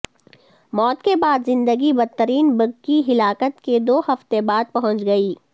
موت کے بعد زندگی بدترین بگ کی ہلاکت کے دو ہفتے بعد پہنچ گئی